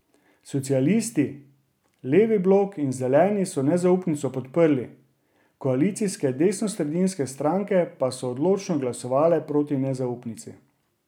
Socialisti, Levi blok in Zeleni so nezaupnico podprli, koalicijske desnosredinske stranke pa so odločno glasovale proti nezaupnici.